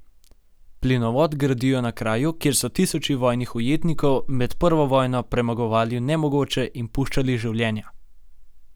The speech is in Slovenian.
Plinovod gradijo na kraju, kjer so tisoči vojnih ujetnikov med prvo vojno premagovali nemogoče in puščali življenja.